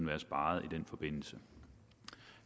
været sparet i den forbindelse